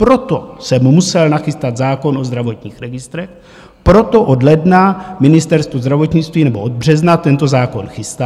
Proto jsem musel nachystat zákon o zdravotních registrech, proto od ledna Ministerstvo zdravotnictví nebo od března tento zákon chystá.